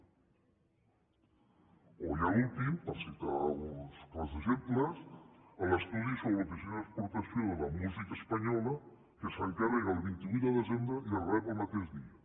o ja l’últim per citar uns quants exemples l’estudi sobre l’oficina d’exportació de la música espanyola que s’encarrega el vint vuit de desembre i es rep el mateix dia